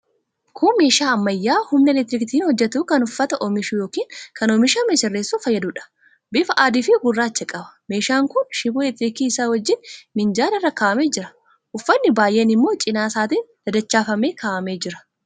Kun meeshaa ammayyaa humna elektirikiitiin hojjetu kan uffata oomishuu yookiin kan oomishame sirreessuuf fayyaduudha. Bifa adiifi gurraacha qaba. Meeshaan kun shiboo elektirikii isaa wajjin minjaala irra kaa'amee jira. Uffatni baay'een immoo cina isaatiin dadachaafamee kaa'amee jira.